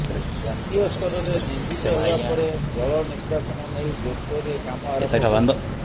ଜାତୀୟ ସ୍ତରରେ ନିନ୍ଦିତ ହେବା ପରେ ଜଳ ନିଷ୍କାସନ ନେଇ ଜୋରସୋରରେ କାମ ଆରମ୍ଭ ହୋଇଛି